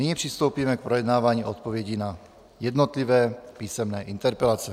Nyní přistoupíme k projednávání odpovědí na jednotlivé písemné interpelace.